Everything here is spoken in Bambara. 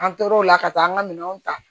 An tor'o la ka taa an ka minɛnw ta